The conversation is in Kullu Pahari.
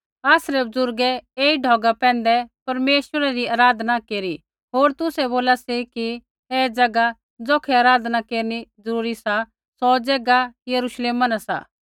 आसरै बुज़ुर्गै ऐई ढौगा पैंधै परमेश्वरा री आराधना नैंई केरनी होर तुसै बोला सी कि ऐ ज़ैगा ज़ौखै आराधना न केरनी जरूरी सा बोला सी सौ ज़ैगा यरूश्लेम शैहरा न सा